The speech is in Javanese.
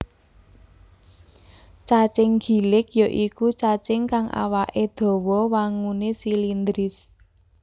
Cacing gilik ya iku cacing kang awaké dawa wanguné silindris